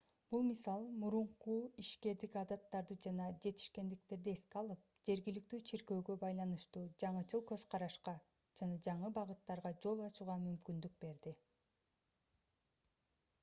бул мисал мурунку ишкердик адаттарды жана жетишкендиктерди эске алып жергиликтүү чиркөөгө байланыштуу жаңычыл көз карашка жана жаңы багыттарга жол ачууга мүмкүндүк берди